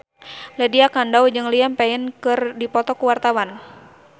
Lydia Kandou jeung Liam Payne keur dipoto ku wartawan